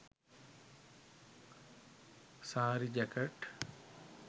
saree jacket